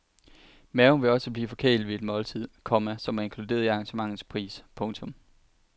Maven vil også blive forkælet ved et måltid, komma som er inkluderet i arrangementets pris. punktum